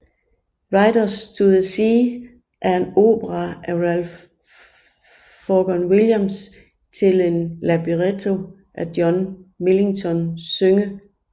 Riders to the Sea er en opera af Ralph Vaughan Williams til en libretto af John Millington Synge